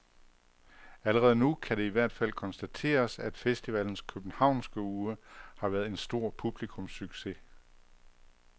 Allerede nu kan det i hvert fald konstateres, at festivalens københavnske uge har været en stor publikumssucces.